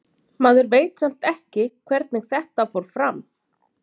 Maður veit samt ekki hvernig þetta fór fram.